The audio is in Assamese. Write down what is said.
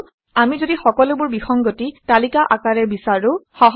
কিন্তু আমি যদি সকলোবোৰ বিসংগতি তালিকা আকাৰে বিচাৰোঁ